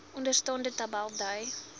onderstaande tabel dui